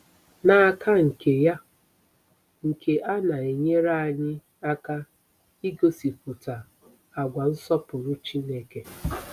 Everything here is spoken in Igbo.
N'aka nke ya, nke a na-enyere anyị aka igosipụta àgwà nsọpụrụ Chineke.